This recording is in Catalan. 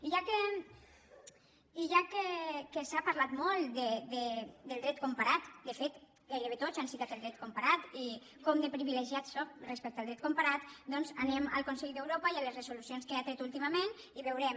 i ja que s’ha parlat molt del dret comparat de fet gairebé tots han citat el dret comparat i com de privilegiats som respecte al dret comparat doncs anem al consell d’europa i a les resolucions que ha tret últimament i ho veurem